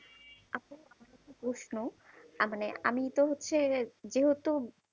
আপু প্রশ্ন আহ মানে আমি তো হচ্ছে যেহেতু